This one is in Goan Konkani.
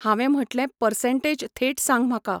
हांवे म्हटलें पसंर्टेज थेट सांग म्हाका.